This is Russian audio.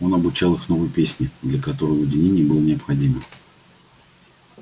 он обучал их новой песне для которой уединение было необходимо